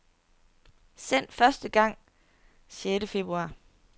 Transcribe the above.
Sendt første gang sjette februar.